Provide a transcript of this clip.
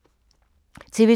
TV 2